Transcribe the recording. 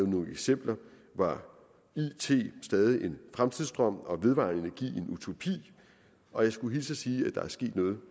nogle eksempler var it stadig en fremtidsdrøm og vedvarende energi en utopi og jeg skulle hilse og sige at der er sket noget